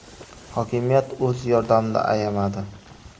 Hokimiyat o‘z yordamini ayamadi.